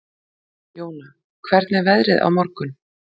Jóna, hvernig er veðrið á morgun?